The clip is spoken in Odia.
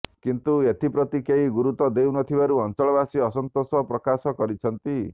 କିନ୍ତୁ ଏଥିପ୍ରତି କେହି ଗୁରୁତ୍ବ ଦେଇନଥିବାରୁ ଅଞ୍ଚଳବାସୀ ଅସନ୍ତୋଷ ପ୍ରକାଶ କରିଛନ୍ତି